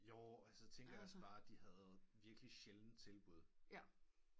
Jo altså jeg tænker også bare de virkelig sjældent havde tilbud